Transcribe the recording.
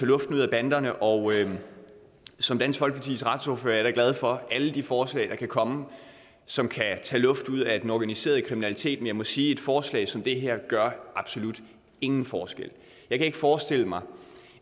luften ud af banderne og som dansk folkepartis retsordfører er jeg da glad for alle de forslag der kan komme som kan tage luften ud af den organiserede kriminalitet men jeg må sige at et forslag som det her gør absolut ingen forskel jeg kan ikke forestille mig